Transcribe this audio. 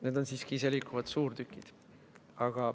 Need on siiski iseliikuvad suurtükid.